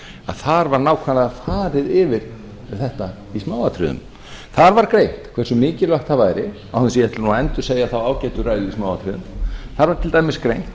þar var nákvæmlega farið yfir þetta í smáatriðum þar var greint hversu mikilvægt það væri án þess að ég ætli nú að endursegja þá ágætu ræðu í smáatriðum þar var til dæmis greint